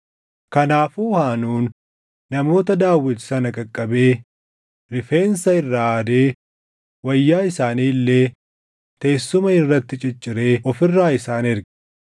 Kanaafuu Haanuun namoota Daawit sana qaqqabee rifeensa irraa haadee wayyaa isaanii illee teessuma irratti cicciree of irraa isaan erge.